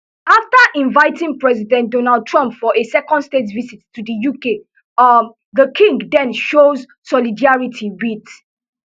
afta inviting president donald trump for a second state visit to di uk um di king den show solidarity wit